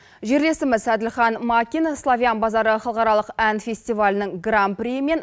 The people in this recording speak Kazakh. жерлесіміз әділхан макин славян базары халықаралық ән фестивалінің гран приі мен